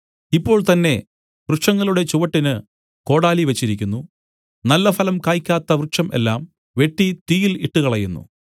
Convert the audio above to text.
ഇപ്പോൾ തന്നേ വൃക്ഷങ്ങളുടെ ചുവട്ടിന് കോടാലി വെച്ചിരിക്കുന്നു നല്ലഫലം കായ്ക്കാത്ത വൃക്ഷം എല്ലാം വെട്ടി തീയിൽ ഇട്ടുകളയുന്നു